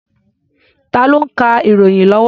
Tá ló ń ka ìròyìn lọ́wọ́?